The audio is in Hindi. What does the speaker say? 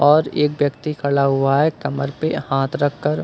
और एक व्यक्ति खड़ा हुआ है कमर पे हाथ रख कर।